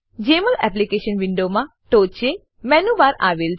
જમોલ application વિન્ડોમાં ટોંચે menu bar menu bar આવેલ છે